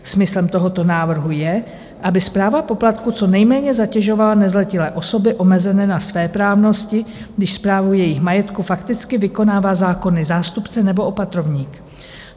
Smyslem tohoto návrhu je, aby správa poplatku co nejméně zatěžovala nezletilé a osoby omezené na svéprávnosti, když správu jejich majetku fakticky vykonává zákonný zástupce nebo opatrovník.